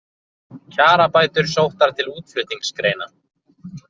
Kjarabætur sóttar til útflutningsgreina